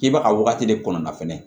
K'i bɛ ka wagati de kɔnɔna fɛnɛ